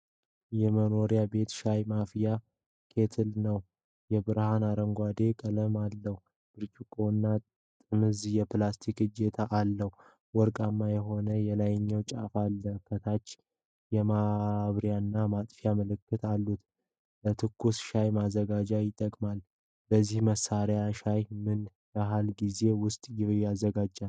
የመኖራቢያ ቤት ሻይ ማፍያ ኬትል ነው። የብርሃን አረንጓዴ ቀለም አለው። ብርጭቆና ጥምዝ የፕላስቲክ እጀታ አለው። ወርቃማ የሆነ የላይኛው ጫፍ አለ። ከታች የማብሪያና ማጥፊያ ምልክቶች አሉት። ለትኩስ ሻይ ማዘጋጃ ይጠቅማል። በዚህ መሣሪያ ሻይ በምን ያህል ጊዜ ውስጥ ይዘጋጃል?